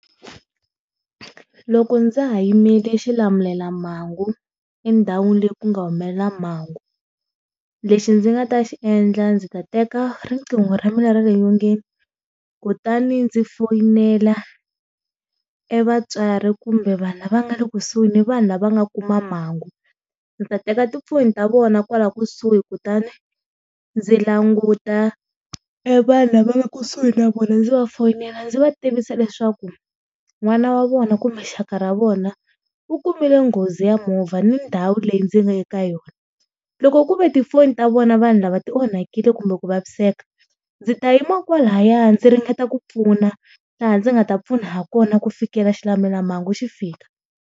Loko ndza ha yimele xilamulelamhangu endhawini leyi ku nga humelela mhangu, lexi ndzi nga ta xi endla ndzi ta teka riqingho ra mina ra le nyongeni kutani ndzi foyinela evatswari kumbe vanhu lava nga le kusuhi ni vanhu lava nga kuma mhangu ndzi ta teka tifoni ta vona kwala kusuhi kutani ndzi languta e vanhu lava nga kusuhi na vona ndzi va fonela ndzi va tivisa leswaku n'wana wa vona kumbe xaka ra vona u kumile nghozi ya movha ni ndhawu leyi ndzi nga eka yona, loko ku ve tifoni ta vona vanhu lava ti onhakile kumbe ku vaviseka ndzi ta yima kwalaya ndzi ringeta ku pfuna laha ndzi nga ta pfuna ha kona ku fikela xilamulelamhangu xi fika.